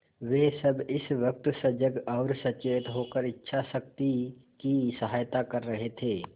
वे सब इस वक्त सजग और सचेत होकर इच्छाशक्ति की सहायता कर रहे थे